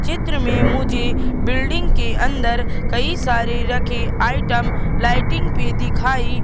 चित्र में मुझे बिल्डिंग के अंदर कई सारे रखे आइटम लाइटिंग पे दिखाई--